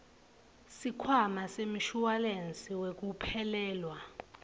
sikhwama semshuwalensi wekuphelelwa